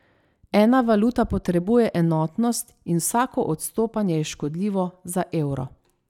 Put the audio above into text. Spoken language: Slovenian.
Ena valuta potrebuje enotnost in vsako odstopanje je škodljivo za evro.